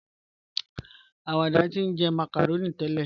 Awàdà ti njẹ́ macaroni tẹlẹ.